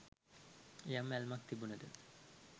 යම් ඇල්මක් තිබුනද